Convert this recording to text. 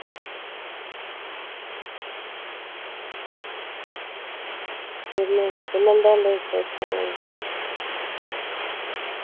പിന്നെ പിന്നെ എന്താ ഉണ്ട് വിശേഷങ്ങൾ